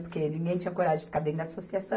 Porque ninguém tinha coragem de ficar dentro da associação.